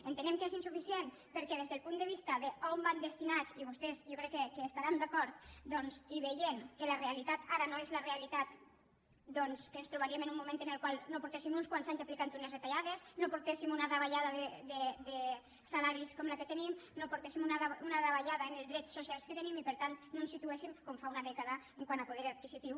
entenem que és insuficient perquè des del punt de vista d’on van destinats i vostès jo crec que hi estaran d’acord doncs i veient que la realitat ara no és la realitat que ens trobaríem en un moment en el qual no portessin uns quants anys aplicant unes retallades no portéssim una davallada de salaris com la que tenim no portéssim una davallada en els drets socials que tenim i per tant no ens situéssim com fa una dècada quant a poder adquisitiu